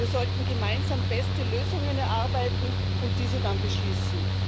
Wir sollten gemeinsam beste Lösungen erarbeiten und diese dann beschließen.